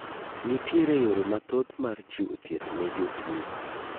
Nitiere yore mathoth mar chiwo thieth ne jotuo.